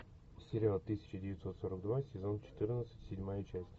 сериал тысяча девятьсот сорок два сезон четырнадцать седьмая часть